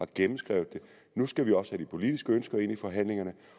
gennemskrevet det nu skal vi også have de politiske ønsker ind i forhandlingerne